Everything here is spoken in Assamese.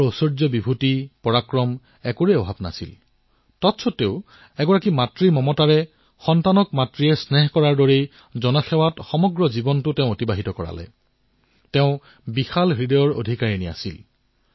তেওঁৰ হৃদয় বহু উদাৰ আছিল